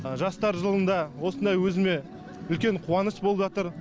жастар жылында осындай өзіме үлкен қуаныш болып жатыр